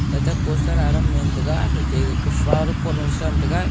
ate poster adam mentaga hate gakah flower pot lung themtaga--